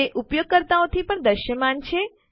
તે ઉપયોગકર્તાઓ થી પણ દૃશ્યમાન છે